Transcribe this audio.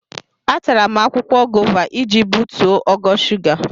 Atara m akwụkwọ gova iji butuo ogo shuga.